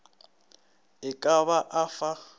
e ka ba o fa